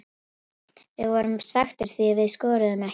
Við erum svekktir því við skoruðum ekki.